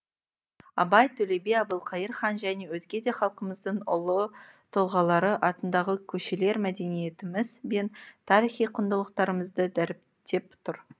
абай төле би әбілқайыр хан және өзге де халқымыздың ұлы тұлғалары атындағы көшелер мәдениетіміз бен тарихи құндылықтарымызды дәріптеп тұр